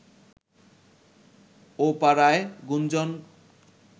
ও পাড়ায় গুঞ্জন